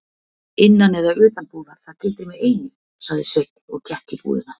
Innan eða utan búðar, það gildir mig einu, sagði Sveinn og gekk í búðina.